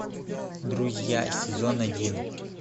друзья сезон один